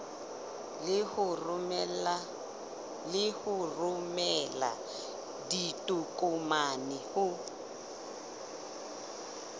le ho romela ditokomane ho